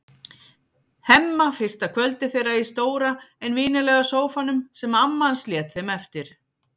Hemma fyrsta kvöldið þeirra í stóra en vinalega sófanum sem amma hans lét þeim eftir.